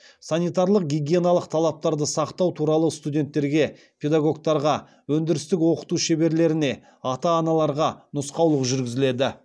санитариялық гигиеналық талаптарды сақтау туралы студенттерге педагогтарға өндірістік оқыту шеберлеріне ата аналарға нұсқаулық жүргізіледі